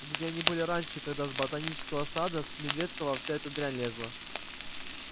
где они были раньше когда с ботанического сада с медведкова вся эта дрянь лезла